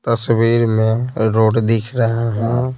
तस्वीर में रोड दिख रहा हूं।